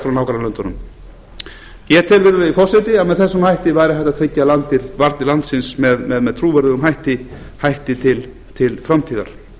frá nágrannalöndunum ég tel virðulegi forseti að með þessum hætti væri hægt að tryggja varnir landsins með mjög trúverðugum hætti til framtíðar